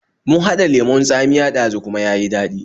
Mun haɗa lemon tsamiya ɗazu kuma ya yi daɗi